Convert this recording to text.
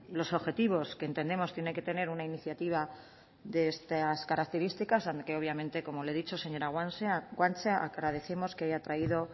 los objetivos que entendemos que tienen que tener una iniciativa de estas características aunque obviamente como le he dicho señora guanche agradecemos que haya traído